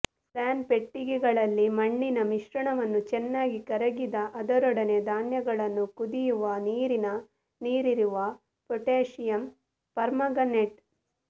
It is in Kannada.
ಪ್ಲಾನ್ ಪೆಟ್ಟಿಗೆಗಳಲ್ಲಿ ಮಣ್ಣಿನ ಮಿಶ್ರಣವನ್ನು ಚೆನ್ನಾಗಿ ಕರಗಿದ ಅದರೊಡನೆ ಧಾನ್ಯಗಳನ್ನು ಕುದಿಯುವ ನೀರಿನ ನೀರಿರುವ ಪೊಟ್ಯಾಷಿಯಂ ಪರ್ಮಾಂಗನೇಟ್